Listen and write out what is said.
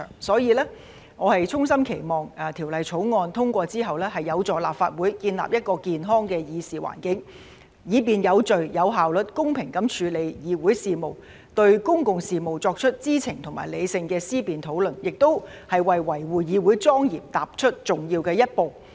所以，我衷心期望《條例草案》通過後，有助立法會建立一個健康的議事環境，以便有序、有效率、公平地處理議會事務，對公共事務作出知情和理性的思辨討論，也為維護議會莊嚴踏出重要的一步。